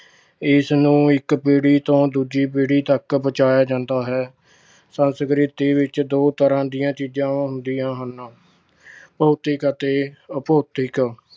ਇਸ ਨੂੰ ਇੱਕ ਪੀੜ੍ਹੀ ਤੋਂ ਦੂਜੀ ਪੀੜ੍ਹੀ ਤੱਕ ਪਹੁੰਚਾਇਆ ਜਾਂਦਾ ਹੈ। ਸੰਸਕ੍ਰਿਤੀ ਵਿੱਚ ਦੋ ਤਰ੍ਹਾਂ ਦੀਆਂ ਚੀਜ਼ਾਂ ਹੁੰਦੀਆਂ ਹਨ- ਭੌਤਿਕ ਅਤੇ ਅਭੌਤਿਕ।